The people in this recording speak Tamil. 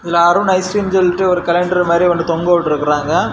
இதுல அருண் ஐஸ் கிரீம்னு சொல்ட்டு ஒரு கேலண்டர் மாரி ஒன்னு தொங்கவிட்ருக்காங்க.